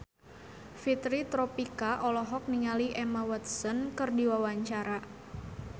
Fitri Tropika olohok ningali Emma Watson keur diwawancara